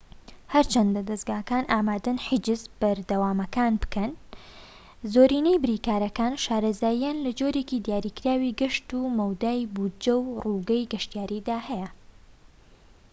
هەرچەندە دەزگاکان ئامادەن حیجزە بەردەوامەکان بکەن زۆرینەی بریکارەکان شارەزاییان لە جۆرێکی دیاریکراوی گەشت و مەودای بوجە و ڕووگەی گەشتیاریدا هەیە